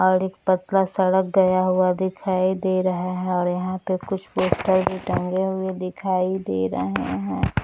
और एक पतला सड़क गया हुआ दिखाई दे रहा है और यहां पे कुछ पोस्टर भी टंगे हुए दिखाई दे रहे है।